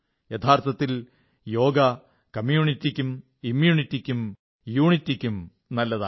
യഥാർത്ഥത്തിൽ യോഗ കമ്യൂണിറ്റിക്കും ഇമ്യൂണിറ്റിക്കും യൂണിറ്റിക്കും നല്ലതാണ്